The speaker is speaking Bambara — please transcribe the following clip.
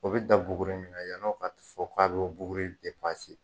O bɛ da buguri min kan yanni o ka fɔ k'a bɔ buguri